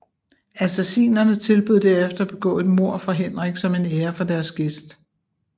Assasinerne tilbød derefter at begå et mord for Henrik som en ære for deres gæst